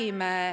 Aitäh!